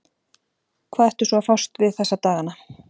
Hvað ertu svo að fást við þessa dagana?